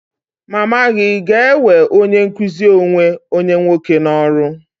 Mama gị ga-ewe onye nkụzi onwe onye nwoke n'ọrụ?